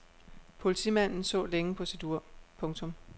Politimanden så længe på sit ur. punktum